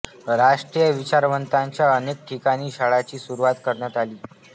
राष्ट्रीय विचारांच्या अनेक ठिकाणी शाळांची सुरूवात करण्यात आली